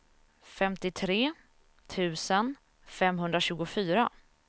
femtiotre tusen femhundratjugofyra